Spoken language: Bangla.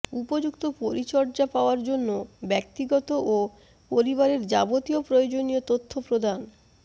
উপযুক্ত পরিচর্যা পাওয়ার জন্য ব্যক্তিগত ও পরিবারের যাবতীয় প্রয়োজনীয় তথ্য প্রদান